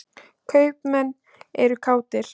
Kaupmenn eru kátir.